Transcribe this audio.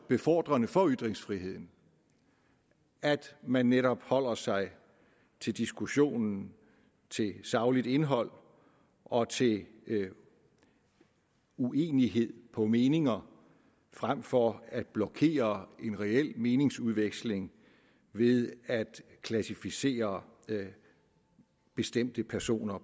befordrende for ytringsfriheden at man netop holder sig til diskussionen til sagligt indhold og til uenighed på meninger frem for at blokere en reel meningsudveksling ved at klassificere bestemte personer